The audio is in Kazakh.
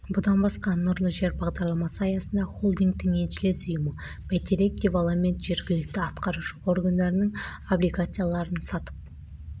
бұдан басқа нұрлы жер бағдарламасы аясында холдингтің еншілес ұйымы бәйтерек девелопмент жергілікті атқарушы органдардың облигацияларын сатып